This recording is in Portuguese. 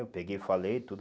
Eu peguei e falei tudo.